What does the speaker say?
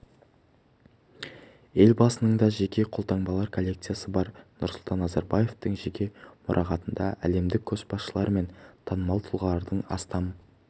елбасының да жеке қолтаңбалар коллекциясы бар нұрсұлтан назарбаевтың жеке мұрағатында әлемдік көшбасшылар мен танымал тұлғалардың астам